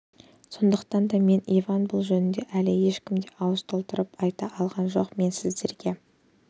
сондықтан да мен иван бұл жөнінде әлі ешкім де ауыз толтырып айта алған жоқ мен сіздерге